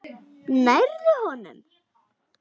Nærðu honum?